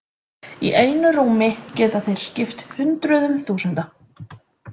Í einu rúmi geta þeir skipt hundruðum þúsunda.